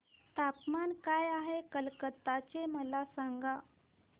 तापमान काय आहे कलकत्ता चे मला सांगा